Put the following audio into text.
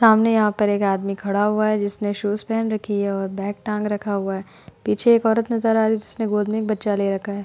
सामने यहाँ पर एक आदमी खड़ा हुआ है जिसने शूज पहन रखी हैं और बैग टांग रखा हुआ है पीछे एक औरत नजर आ रही है जिसने गोद में एक बच्चा ले रखा है।